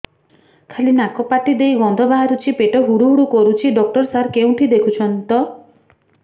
ଖାଲି ନାକ ପାଟି ଦେଇ ଗଂଧ ବାହାରୁଛି ପେଟ ହୁଡ଼ୁ ହୁଡ଼ୁ କରୁଛି ଡକ୍ଟର ସାର କେଉଁଠି ଦେଖୁଛନ୍ତ